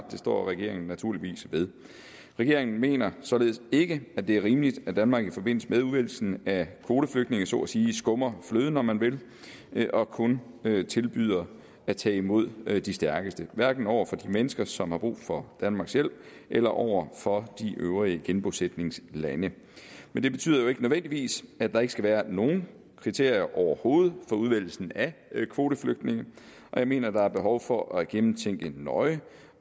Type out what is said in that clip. det står regeringen naturligvis ved regeringen mener således ikke det er rimeligt at danmark i forbindelse med udvælgelsen af kvoteflygtninge så at sige skummer fløden om man vil vil og kun tilbyder at tage imod de stærkeste hverken over for de mennesker som har brug for danmarks hjælp eller over for de øvrige genbosætningslande men det betyder jo ikke nødvendigvis at der ikke skal være nogen kriterier overhovedet for udvælgelsen af kvoteflygtninge og jeg mener at der er behov for at gennemtænke nøje